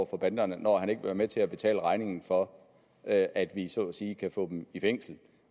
for banderne når han ikke vil være med til at betale regningen for at at vi så at sige kan få dem i fængsel